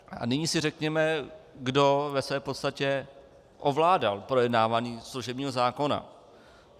A nyní si řekněme, kdo ve své podstatě ovládal projednávání služebního zákona.